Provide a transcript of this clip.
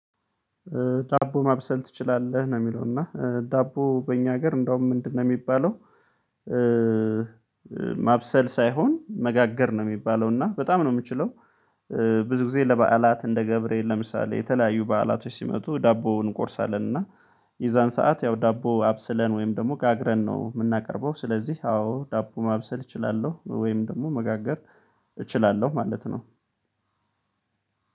"ዳቦ ማብሰል ትችላለህ?" ነው የሚለው፤ እና ዳቦ በእኛ ሀገር እንደውም ምንድነው የሚባለው ማብሰል ሳይሆን መጋገር ነው የሚባለው፤ እና በጣም ነው የምችለው። ብዙ ጊዜ ለበዓላት እንደ ገብርኤል ለምሳሌ የተለያዩ በዓላቶች ሲመጡ ዳቦውን እንቆርሳለን፤ እና የዛን ሰዓት ያው ዳቦ አብስለን ወይም ደግሞ ጋግረን ነው የምናቀርበው። ስለዚህ አዎ ዳቦ ማብሰል እችላለሁ። ወይም ደግሞ መጋገር እችላለሁ ማለት ነው።